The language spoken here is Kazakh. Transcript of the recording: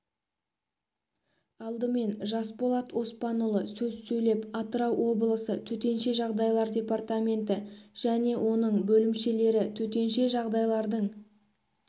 алдымен жасболат оспанұлы сөз сөйлеп атырау облысы төтенше жағдайлар департаменті және оның бөлімшелері төтенше жағдайлардың